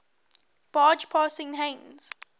barge passing heinz